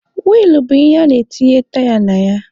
Wiilụ bụ ihe ana-etinye taya na ya.